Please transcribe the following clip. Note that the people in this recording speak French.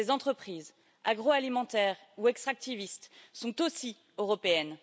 Ces entreprises agroalimentaires ou extractivistes sont aussi européennes.